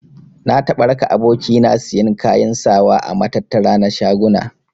Na taɓa raka aboki na siyan kayan sawa a matattara na shaguna.